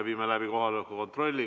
Teeme kohaloleku kontrolli.